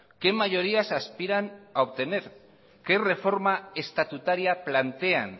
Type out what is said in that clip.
qué mayorías aspiran a obtener qué reforma estatutaria plantean